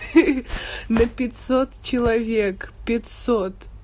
хи-хи на пятьсот человек пятьсот